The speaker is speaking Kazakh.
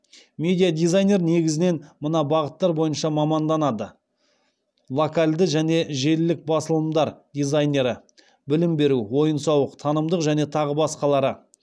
медиа дизайнер негізінен мына бағыттар бойынша маманданады локальді және желілік басылымдар дизайнері